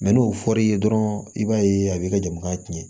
n'o fɔr'i ye dɔrɔn i b'a ye a b'i ka jamana tiɲɛ